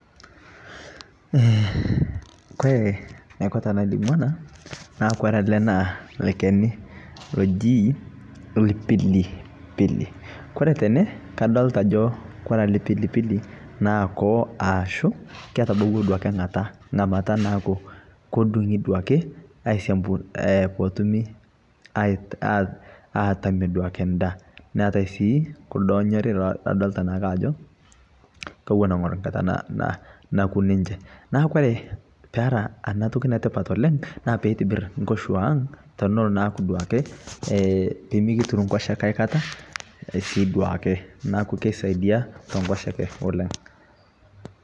Kore naiko tanalimu anaa naa kore alee naa lkeni lojii lpilipilii kore tenee kadolitaa ajoo kore alee pilipilii naa koowo aashu ketabauwa duake nkataa ng'amataa naaku kodung'i duake aisiampu potumii atamie duake ndaa neatai sii kuldoo enyorii ladolitaa naake ajoo kowon eng'or nkataa nakuu ninshee naa kore peraa anaa tokii netipat oleng' naa peitibir nkoshuang' tonoloo naaku duake pimikitiruu nkosheke aikata sii duakee naaku keisaidia tenkoshekee oleng'.